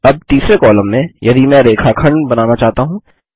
अब तीसरे कॉलम में यदि मैं रेखाखंड बनाना चाहता हूँ